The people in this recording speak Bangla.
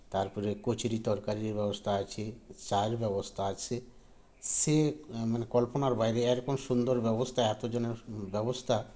তারপরে কচুরি তরকারির ব্যবস্থা আছে চা এর ব্যবস্থা আছে সে মানে কল্পনার বাইরে এরকম সুন্দর ব্যবস্থা এতজনের ব্যবস্থা